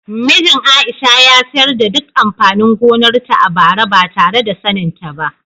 Mijin Aisha ya sayar da duk amfanin gonarta a bara ba tare da saninta ba.